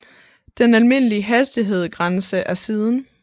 Den almindelige hastighed grænse er siden 1